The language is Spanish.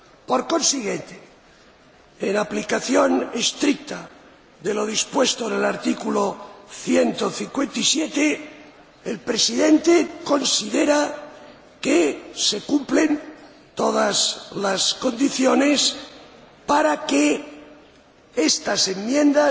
Por consiguiente, en aplicación estricta de lo dispuesto en el artículo 157, el Presidente considera que se cumplen todas las condiciones para que estas enmiendas